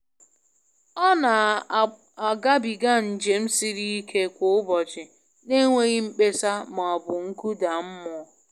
Ọ na agabiga njem siri ike kwa ụbọchị n'enweghị mkpesa ma ọ bụ nkụda mmụọ.